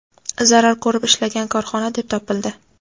zarar ko‘rib ishlagan korxona deb topildi.